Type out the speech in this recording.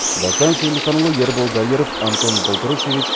дастан сейілханұлы ербол дайыров антон болтрушеевич